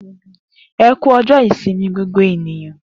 E ku ọjọ ìsinmi gbogbo ènìyàn.